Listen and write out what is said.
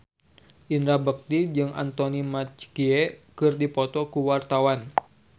Indra Bekti jeung Anthony Mackie keur dipoto ku wartawan